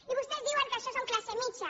i vostès diuen que això són classe mitjana